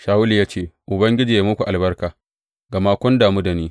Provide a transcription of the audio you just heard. Shawulu ya ce, Ubangiji ya yi muku albarka, gama kun damu da ni.